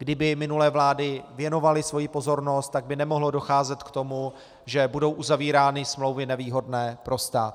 Kdyby minulé vlády věnovaly svoji pozornost, tak by nemohlo docházet k tomu, že budou uzavírány smlouvy nevýhodné pro stát.